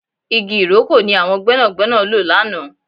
Igi ìrókò ni àwọn gbẹ́nàgbẹ́nà lò lánàá